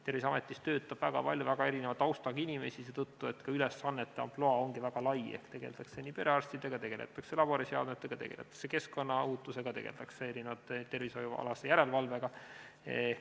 Terviseametis töötab väga palju väga erineva taustaga inimesi, seetõttu et ka ülesannete ampluaa on väga lai, tegeldakse nii perearstidega, laboriseadmetega, keskkonnaohutusega, tervishoiu järelevalvega.